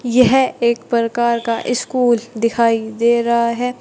यह एक प्रकार का स्कूल दिखाई दे रहा है।